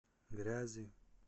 грязи